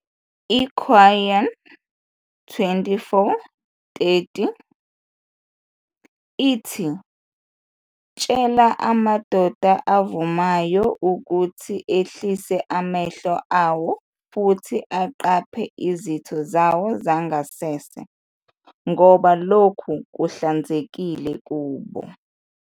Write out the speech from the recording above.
I-Qur'an 24-30 ithi, "Tshela amadoda avumayo ukuthi ehlise amehlo awo futhi aqaphe izitho zawo zangasese, ngoba lokho kuhlanzekile kubo.